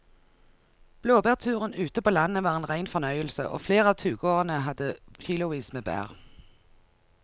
Blåbærturen ute på landet var en rein fornøyelse og flere av turgåerene hadde kilosvis med bær.